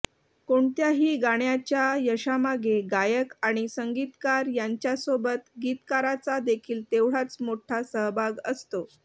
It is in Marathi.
कोणत्याही गाण्याच्या यशामागे गायक आणि संगीतकार यांच्यासोबत गीतकाराचा देखील तेवढाच मोठा सहभाग असतो